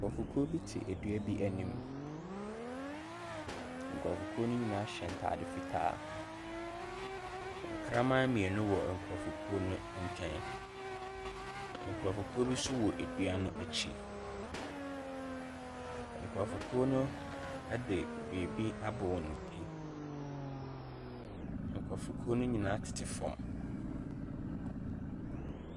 Nkurɔfokuo bo te dua anim. Nkurɔfokuo no nyinaa hyɛ ntade fitaa. Nkraman.